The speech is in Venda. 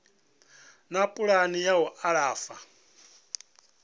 na pulani ya u alafha